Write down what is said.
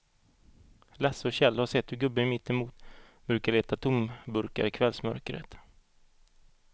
Lasse och Kjell har sett hur gubben mittemot brukar leta tomburkar i kvällsmörkret.